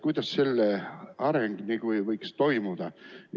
Kuidas selle areng võiks toimuda?